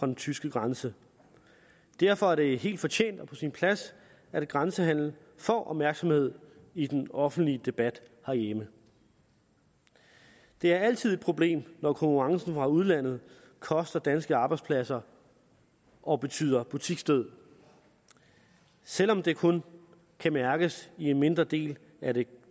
den tyske grænse derfor er det helt fortjent og på sin plads at grænsehandelen får opmærksomhed i den offentlige debat herhjemme det er altid et problem når konkurrencen fra udlandet koster danske arbejdspladser og betyder butiksdød selv om det kun kan mærkes i en mindre del af det